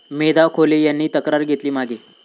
मेधा खोले यांनी तक्रार घेतली मागे